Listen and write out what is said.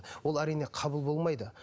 ол әрине қабыл болмайды